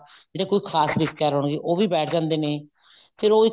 ਜਿਹੜੇ ਕੁੱਝ ਖਾਸ ਰਿਸ਼ਤੇਦਾਰ ਹੁੰਦੇ ਨੇ ਉਹ ਵੀ ਬੈਠ ਜਾਂਦੇ ਨੇ ਫੇਰ ਉਹ